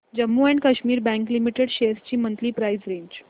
Jammu and Kashmir bank limited shares ची monthly price range